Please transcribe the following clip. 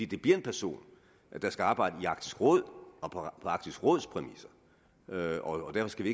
det bliver en person der skal arbejde i arktisk råd og på arktisk råds præmisser og derfor skal